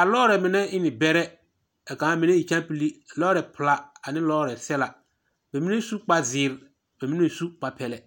A lͻͻre mine e ne bԑrԑ kaa mine e kyaampili. Lͻͻre pela ane lͻͻre sԑla. Ba mine suŋ kpare zeere a ba mine su kpare pԑlԑ.